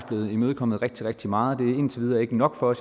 blevet imødekommet rigtig rigtig meget men indtil videre ikke nok for